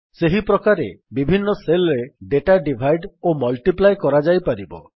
ସେହିପ୍ରକାରେ ବିଭିନ୍ନ Cellରେ ଡେଟାକୁ ଡିଭାଇଡ ଓ ମଲ୍ଟିପ୍ଲାଏ କରାଯାଇପାରିବ